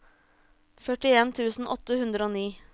førtien tusen åtte hundre og ni